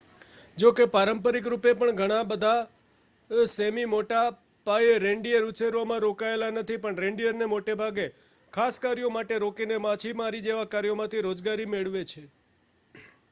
જોકે પારંપરિક રૂપે પણ બધાં સૅમી મોટા પાયે રેન્ડીઅર ઉછેરમાં રોકાયેલા નથી પણ રેન્ડીઅરને મોટેભાગે ખાસ કાર્યો માટે રોકીને માછીમારી જેવા કાર્યમાંથી રોજગારી મેળવે છે